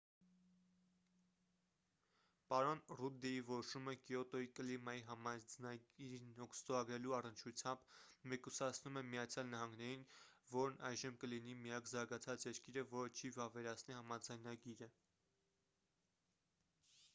պարոն ռուդդի որոշումը կիոտոյի կլիմայի համաձայնագիրն ստորագրելու առնչությամբ մեկուսացնում է միացյալ նահանգներին որն այժմ կլինի միակ զարգացած երկիրը որը չի վավերացնի համաձայնագիրը